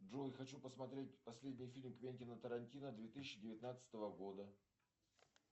джой хочу посмотреть последний фильм квентина тарантино две тысячи девятнадцатого года